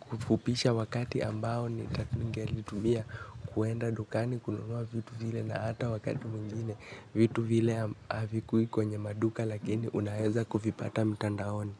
kufupisha wakati ambao nita ningelitumia kwenda dukani kununua vitu vile na hata wakati mwingine vitu vile havikuwi kwenye maduka lakini unaweza kuvipata mtandaoni.